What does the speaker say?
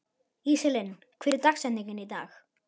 Íselín, hver er dagsetningin í dag?